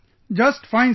Just fine sir